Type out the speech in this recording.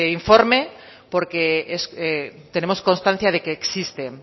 informe porque tenemos constancia de que existe